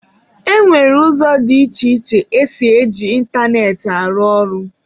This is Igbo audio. E nwere ụzọ dị iche iche esi e ji ịntanetị arụ ọrụ.